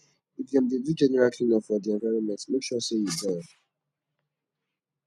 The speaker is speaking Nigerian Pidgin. if dem de do general clean up for di environment make sure say you join